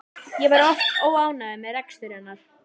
Ég var oft óánægður með rekstur hennar.